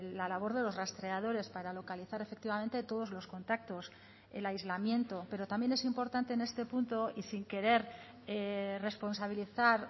la labor de los rastreadores para localizar efectivamente todos los contactos el aislamiento pero también es importante en este punto y sin querer responsabilizar